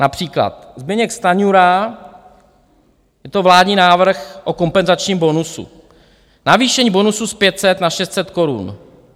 Například Zbyněk Stanjura - je to vládní návrh o kompenzačním bonusu - navýšení bonusu z 500 na 600 korun.